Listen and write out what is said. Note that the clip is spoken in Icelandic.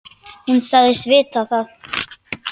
Hún sagðist vita það.